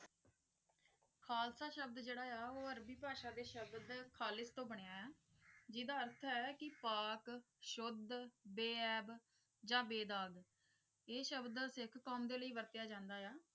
ਖ਼ਾਲਸਾ ਸ਼ਬਦ ਜਿਹੜਾ ਆ ਉਹ ਅਰਬੀ ਭਾਸ਼ਾ ਦੇ ਸ਼ਬਦ ਖ਼ਾਲਿਸ ਤੋਂ ਬਣਿਆ ਹੈ ਜਿਹਦਾ ਅਰਥ ਹੈ ਕਿ ਪਾਕ ਸ਼ੁੱਧ ਬੇਐਬ ਜਾਂ ਬੇਦਾਗ਼ ਇਹ ਸ਼ਬਦ ਸਿੱਖ ਕੌਮ ਦੇ ਲਈ ਵਰਤਿਆ ਜਾਂਦਾ ਹੈ।